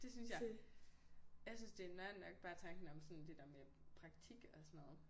Det synes jeg. Jeg synes det er noieren nok bare om sådan det der med praktik og sådan noget